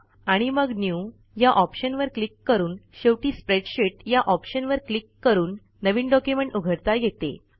आणि मग न्यू या ऑप्शनवर क्लिक करून शेवटी स्प्रेडशीट या ऑप्शनवर क्लिक करून नवीन डॉक्युमेंट उघडता येते